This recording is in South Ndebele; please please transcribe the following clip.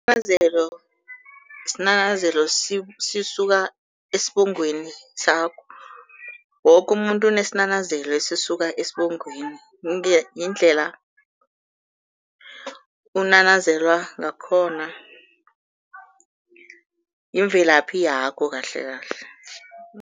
Isinanazelo sisuka esibongweni sakho. Woke umuntu unesinanazelo esisuka esibongweni, yindlela unanazelwa ngakhona, yimvelaphi yakho kahlekahle.